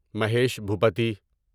Mahesh Bhupathi